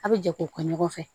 A bɛ jɛ k'o kɛ ɲɔgɔn fɛ